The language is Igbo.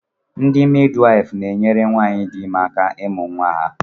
Ndị midwaịfụ na-enyere nwaanyị dị ime aka ịmụ nwa ya.